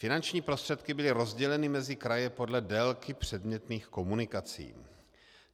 Finanční prostředky byly rozděleny mezi kraje podle délky předmětných komunikací.